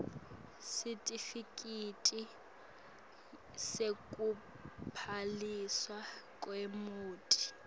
sitifiketi sekubhaliswa kwemoti